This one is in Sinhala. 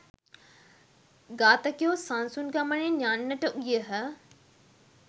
ඝාතකයෝ සන්සුන් ගමනින් යන්නට ගියහ.